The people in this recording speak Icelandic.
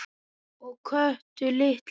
Og Kötu litlu.